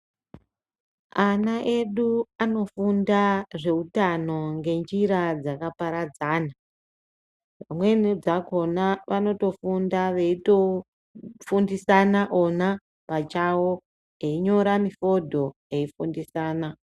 Ana edu anofunda zveutano ngenjira dzakaparadzana dzimweni dzakona vanotofunda veitofundisana vona pachavo einyora mifodho eifundisana .